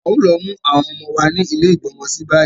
A ò lo mu àwọn ọmọ wa ni ile igbọ́mọsí bayi